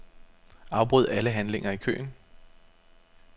Afbryd alle handlinger i køen.